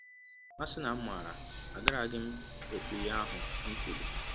‘ A sị na m maara agaraghị m m ekwụ ihe ahụ m kwụrụ! ’